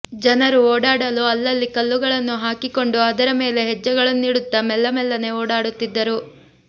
ಜನರು ಓಡಾಡಲು ಅಲ್ಲಲ್ಲಿ ಕಲ್ಲುಗಳನ್ನು ಹಾಕಿಕೊಂಡು ಅದರ ಮೇಲೆ ಹೆಜ್ಜೆಗಳನ್ನಿಡುತ್ತ ಮೆಲ್ಲ ಮೆಲ್ಲನೆ ಓಡಾಡುತ್ತಿದ್ದರು